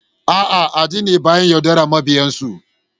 A'a, addini baya yaudarar mabiyansu